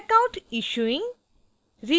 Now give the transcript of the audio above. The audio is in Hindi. check out issuing